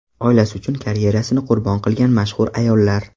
Oilasi uchun karyerasini qurbon qilgan mashhur ayollar .